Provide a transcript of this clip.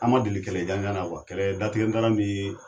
An ma deli kɛlɛ jan jan na kuwa kɛlɛ datigɛ dala nii